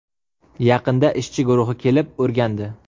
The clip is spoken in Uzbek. Yaqinda ishchi guruhi kelib, o‘rgandi.